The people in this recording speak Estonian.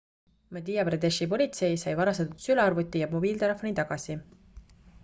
madhya pradeshi politsei sai varastatud sülearvuti ja mobiiltelefoni tagasi